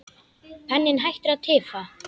Penninn hættir að tifa.